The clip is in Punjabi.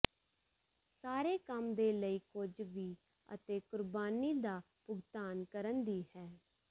ਸਾਰੇ ਕੰਮ ਦੇ ਲਈ ਕੁਝ ਵੀ ਅਤੇ ਕੁਰਬਾਨੀ ਦਾ ਭੁਗਤਾਨ ਕਰਨ ਦੀ ਹੈ